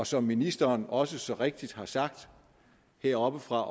som ministeren også så rigtigt har sagt heroppefra